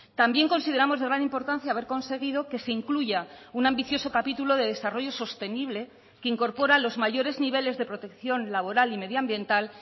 también consideramos de gran importancia haber conseguido que se incluya un ambicioso capítulo de desarrollo sostenible que incorpora los mayores niveles de protección laboral y medioambiental